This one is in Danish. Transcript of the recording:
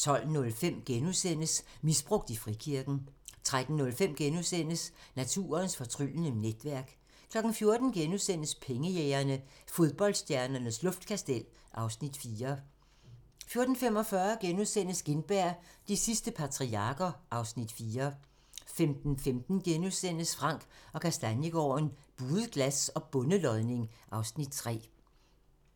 12:05: Misbrugt i frikirken * 13:05: Naturens fortryllende netværk * 14:00: Pengejægerne - Fodboldstjernernes luftkastel (Afs. 4)* 14:45: Gintberg - de sidste patriarker (Afs. 4)* 15:15: Frank & Kastaniegaarden - Buet glas og bondelodning (Afs. 3)*